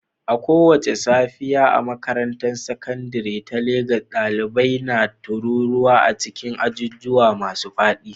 A kowace safiya a makarantar sakandare ta Legas, ɗalibai na taruwa a cikin ajujuwa masu faɗi